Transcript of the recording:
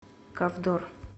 ковдор